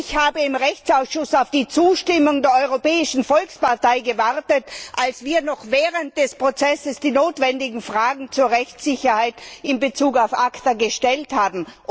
Ich habe im Rechtsausschuss auf die Zustimmung der Europäischen Volkspartei gewartet, als wir noch während des Prozesses die notwendigen Fragen zur Rechtssicherheit in Bezug auf ACTA gestellt haben.